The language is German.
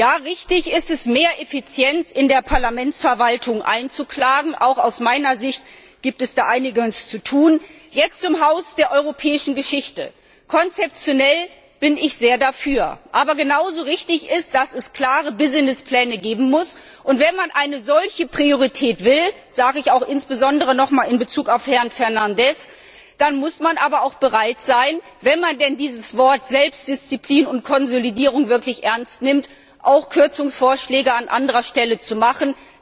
Ja, richtig ist es, mehr Effizienz in der Parlamentsverwaltung einzuklagen, auch aus meiner Sicht gibt es da einiges zu tun. Jetzt zum Haus der europäischen Geschichte Konzeptionell bin ich sehr dafür! Aber genauso richtig ist, dass es klare Businesspläne geben muss. Wenn man eine solche Priorität will sage ich auch insbesondere nochmals an Herrn Fernandes gerichtet wenn man denn die Worte Selbstdisziplin und Konsolidierung wirklich ernst nimmt, dann muss man auch bereit sein, Kürzungsvorschläge an anderer Stelle zu machen.